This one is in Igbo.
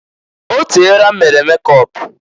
O teela m mere mekọp.